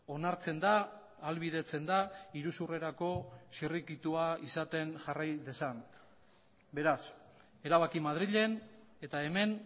onartzen da ahalbidetzen da iruzurrerako zirrikitua izaten jarrai dezan beraz erabaki madrilen eta hemen